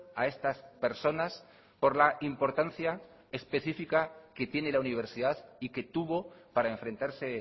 a estas personas por la importancia específica que tiene la universidad y que tuvo para enfrentarse